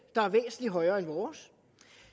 der er væsentlig højere end vores